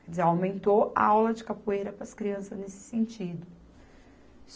Quer dizer, aumentou a aula de capoeira para as crianças nesse sentido.